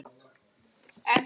Allt svo voða kósí þar!